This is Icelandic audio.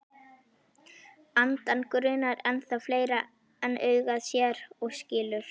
Andann grunar ennþá fleira en augað sér og skilur.